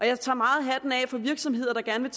jeg tager meget hatten af for virksomheder der gerne